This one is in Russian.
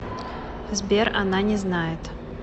сбер она не знает